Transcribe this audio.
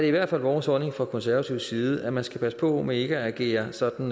i hvert fald vores holdning fra konservatives side at man skal passe på med ikke at agere sådan